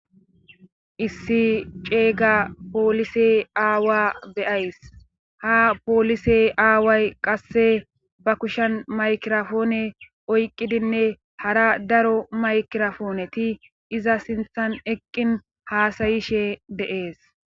issi ceeyga poolise aawa beyays ha poolise aaway qasse ba kushan maykirafoone oyqqidinne hara daro maykirafooneti iza sinthan eqqin haasayishe deees.